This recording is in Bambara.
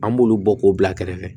An b'olu bɔ k'o bila kɛrɛfɛ